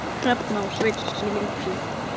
Hrefna og Sveinn skildu.